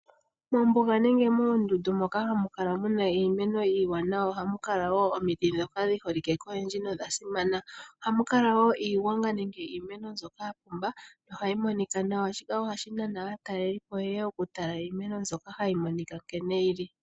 Mombuga nenge moondundu Moka hamu kala muna iimeno iiwanawa ohamukala woo omiti ndhoka dhi holike koyendji nodhasimana. Oha mukale woo iigwanga nenge iimeno mbyoka yapumba nohayi monika nawa .Shika ohashi nana aatalelipo yeye oku tala iimeno mbyoka nkene yili.